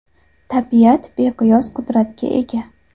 Tabiat beqiyos qudratga ega.